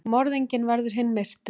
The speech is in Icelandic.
Morðinginn verður hinn myrti.